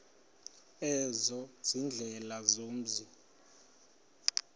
ezo ziindlela zomzi